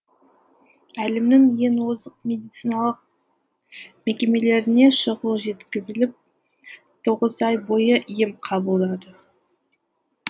әлемнің ең озық медициналық мекемелеріне шұғыл жеткізіліп тоғыз ай бойы ем қабылдады